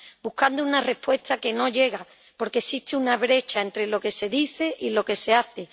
Buscando una respuesta que no llega, porque existe una brecha entre lo que se dice y lo que se hace.